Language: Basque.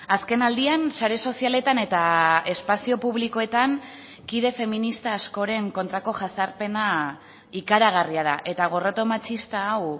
azken aldian sare sozialetan eta espazio publikoetan kide feminista askoren kontrako jazarpena ikaragarria da eta gorroto matxista hau